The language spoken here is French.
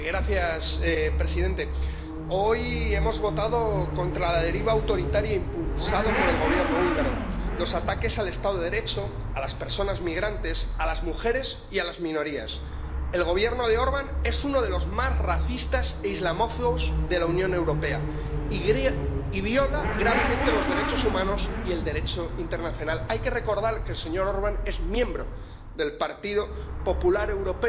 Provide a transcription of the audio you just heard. Monsieur le Président, certains députés se présentent ici en défenseurs autoproclamés des valeurs européennes, distinguant arbitrairement qui les respecte de qui les bafoue, et condamnant tous ceux qui ne marchent pas dans leur direction à sortir de l'unanimité. L'Europe des nations renaît, l'Union européenne éclate. La démocratie, le pluralisme, la tolérance et la liberté sont des piliers intangibles de notre institution. Beaucoup l'ont rappelé hier, avant de préciser que cela ne devait pas s'appliquer à M.